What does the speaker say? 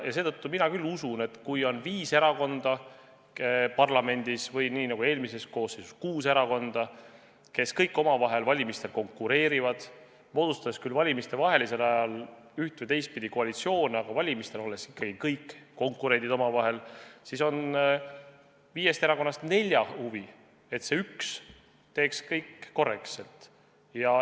Seetõttu mina küll usun, et kui parlamendis on viis erakonda või nii nagu eelmises koosseisus kuus erakonda, kes kõik omavahel valimistel konkureerivad – nad moodustavad küll valimistevahelisel ajal üht- või teistpidi koalitsioone, aga valimistel on ikkagi kõik omavahel konkurendid –, siis on viiest erakonnast nelja huvi, et see üks teeks kõik korrektselt.